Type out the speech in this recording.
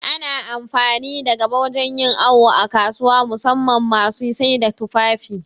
Ana amfani da gaba wajan yin awu a kasuwa, musamman ma masu saida tufafi